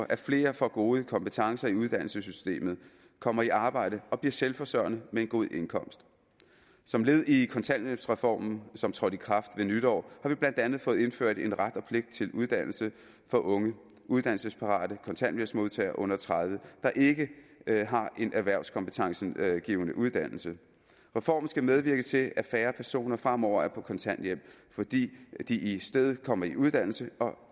at flere får gode kompetencer i uddannelsessystemet kommer i arbejde og bliver selvforsørgende med en god indkomst som led i kontanthjælpsreformen som trådte i kraft ved nytår har vi blandt andet fået indført en ret og pligt til uddannelse for unge uddannelsesparate kontanthjælpsmodtagere under tredive år der ikke har en erhvervskompetencegivende uddannelse reformen skal medvirke til at færre personer fremover er på kontanthjælp fordi de i stedet kommer i uddannelse og